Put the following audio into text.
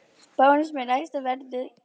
Bónus með lægsta verðið